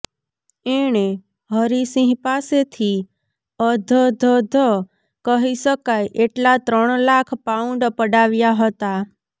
એણે હરિસિંહ પાસેથી અધધધ કહી શકાય એટલા ત્રણ લાખ પાઉન્ડ પડાવ્યા હતા